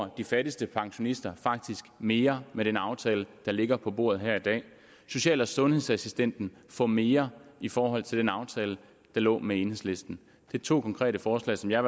at de fattigste pensionister faktisk mere med den aftale der ligger på bordet her i dag social og sundhedsassistenten får mere i forhold til den aftale der lå med enhedslisten det er to konkrete forslag som jeg